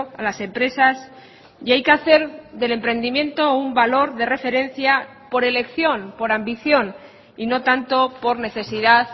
a las empresas y hay que hacer del emprendimiento un valor de referencia por elección por ambición y no tanto por necesidad